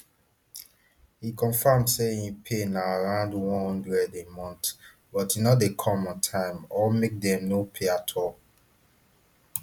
e confam say im pay na around one hundred a month but e no dey come on time or make dem no pay at all